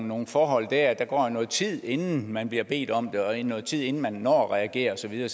nogle forhold der der går jo noget tid inden man bliver bedt om det og noget tid inden man når at reagere og så videre